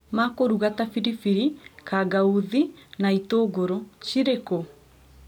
ma kũruga ta biribiri, kangauthi, na itũngũrũ. Cirĩ kũ?